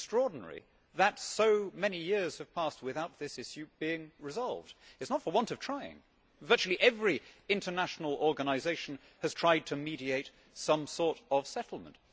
It is extraordinary that so many years have passed without this issue being resolved. It is not for want of trying. Virtually every international organisation has tried to mediate some sort of settlement.